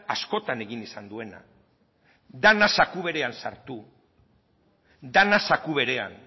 askotan egin izan duena dena zaku berean sartu dena zaku berean